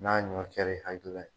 N'a ɲɔ kɛr'i hakilila ye.